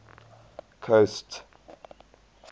coast